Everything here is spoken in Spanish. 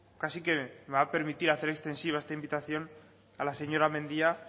casi que me va a permitir hacer extensiva esta invitación a la señora mendia